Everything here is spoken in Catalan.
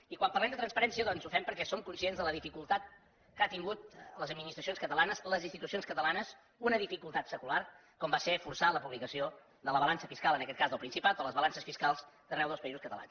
i quan parlem de transparència doncs ho fem perquè som conscients de la dificultat que han tingut les administracions catalanes les institucions catalanes una dificultat secular com va ser forçar la publicació de la balança fiscal en aquest cas del principat o les balances fiscals d’arreu dels països catalans